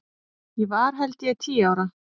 Ég var held ég tíu ára.